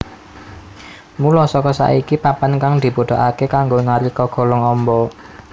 Mula saka iku papan kang dibutuhake kanggo nari kagolong amba